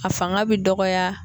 A fanga bɛ dɔgɔya